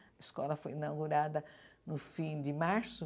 A escola foi inaugurada no fim de março.